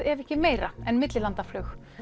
ef ekki meira en millilandaflug